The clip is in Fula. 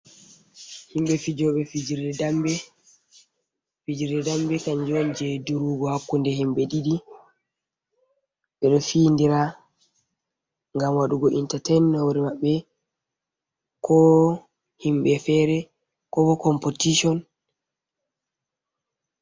Himɓɓe fijoɓe fijirde damɓe, fijirde damɓe kanjum on je durugo hakkunde himɓɓe ɗiɗi ɓe findira, ngam waɗugo intatement, hore maɓbe ko himɓɓe fere, kobo compoition.